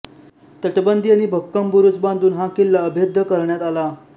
तटबंदी आणि भक्कम बुरुज बांधून हा किल्ला अभेद्य करण्यात आला